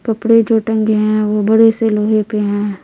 कपड़े जो टंगे हैं वो बड़े से लोहे पे हैं।